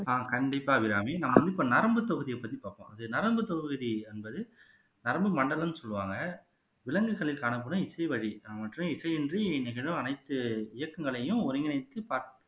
ஆஹ் கண்டிப்பா அபிராமி நான் வந்து இப்ப நரம்பு பகுதியைப் பத்தி பார்ப்போம் அது நரம்புத் தொகுதி என்பது நரம்பு மண்டலம்ன்னு சொல்லுவாங்க விலங்குகளில் காணப்படும் இசைவழி மற்றும் இசையின்றி நிகழும் அனைத்து இயக்கங்களையும் ஒருங்கிணைத்து